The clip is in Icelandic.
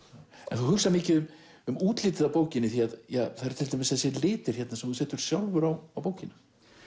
þú hugsar mikið um um útlitið á bókinni því það eru til dæmis þessir litir sem þú setur sjálfur á bókina